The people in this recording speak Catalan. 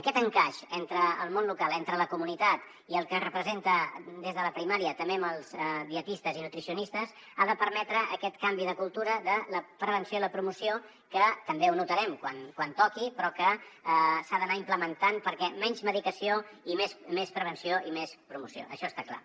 aquest encaix entre el món local entre la comunitat i el que representa des de la primària també amb els dietistes i nutricionistes ha de permetre aquest canvi de cultura de la prevenció i la promoció que també ho notarem quan toqui però que s’ha d’anar implementant perquè menys medicació i més prevenció i més promoció això està clar